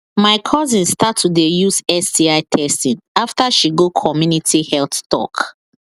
my cousin start to they use sti testing after she go community health talk